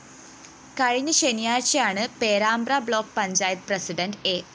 കഴിഞ്ഞ ശനിയാഴ്ചയാണ് Perambra block panchayat president A